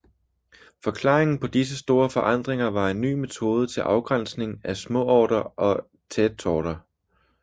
Forklaringen på disse store forandringer var en ny metode til afgrænsning af småorter og tätorter